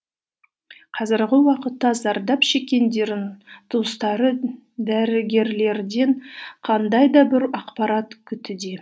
қазіргі уақытта зардап туыстары дәрігерлерден қандай да бір ақпарат күтуде